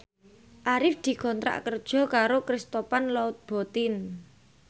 Arif dikontrak kerja karo Christian Louboutin